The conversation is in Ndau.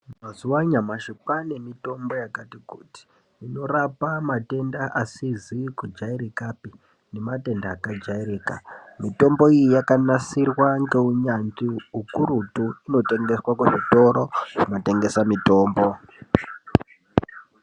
Mazuwa anyamashi kwaane mitombo yakati kuti unorape matenda asizi kujairikapi nematenda akajairika mitombo iyi yakanasirwa ngeunyanzvi ukurutu inotengeswa kuzvitoro zvinotengesa mitombo